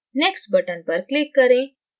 next button पर click करें